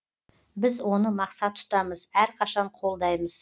біз оны мақсат тұтамыз әрқашан қолдаймыз